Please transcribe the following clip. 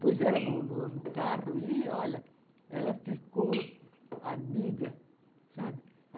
Pus ela no no no carro e, olha, ela ficou amiga, sabe?